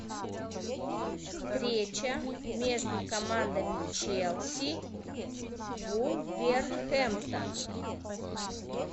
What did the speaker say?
встреча между командами челси вулверхэмптон